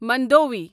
Mandovi